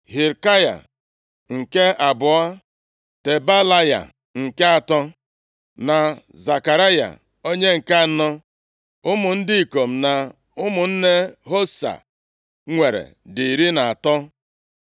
Hilkaya, nke abụọ, Tebalaya, nke atọ na Zekaraya onye nke anọ. Ụmụ ndị ikom na ụmụnne Hosa nwere dị iri na atọ (13).